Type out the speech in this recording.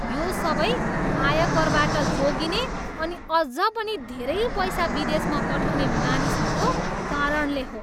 यो सबै आयकरबाट जोगिने अनि अझ पनि धेरै पैसा विदेशमा पठाउने मानिसहरूको कारणले हो।